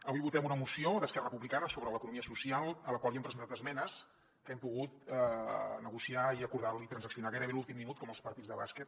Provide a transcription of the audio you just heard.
avui votem una moció d’esquerra republicana sobre l’economia social a la qual hi hem presentat esmenes que hem pogut negociar i acordar i transaccionar gairebé a l’últim minut com als partits de bàsquet